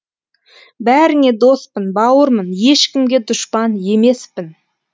бәріңе доспын бауырмын ешкімге дұшпан емеспін